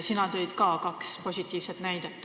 Sina tõid ka kaks positiivset näidet.